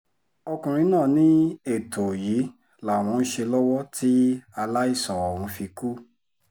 ọkùnrin náà ní ètò yìí làwọn ń ṣe lọ́wọ́ tí aláìsàn ọ̀hún fi kú